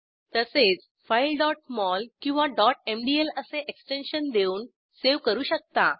तसेच file mol किंवा mdl असे एक्सटेन्शन देऊन सेव्ह करू शकता